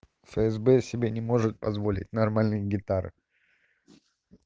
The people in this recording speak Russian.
фсб себе не может позволить нормальные гитары